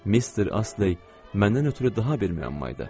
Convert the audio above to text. Mister Astley məndən ötrü daha bir müəmma idi.